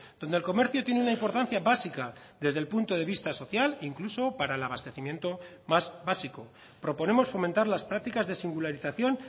donde el comercio tiene una importancia básica desde el punto de vista social incluso para el abastecimiento más básico proponemos fomentar las prácticas de singularización